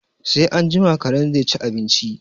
Sai anjima karen zai ci abinci